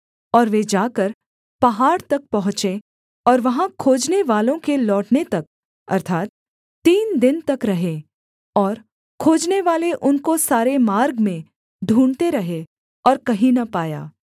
और वे जाकर पहाड़ तक पहुँचे और वहाँ खोजनेवालों के लौटने तक अर्थात् तीन दिन तक रहे और खोजनेवाले उनको सारे मार्ग में ढूँढ़ते रहे और कहीं न पाया